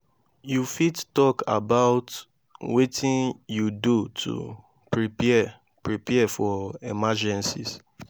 you fit talk about wetin you do to prepare prepare for emergencies?